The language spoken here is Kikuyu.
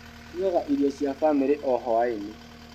Ndugaga irio cia famĩrĩ o hwainĩ.